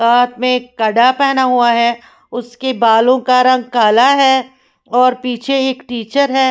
और हाथ में एक कडा पहना हुआ है उसके बालों का रंग काला है और पीछे एक टीचर है।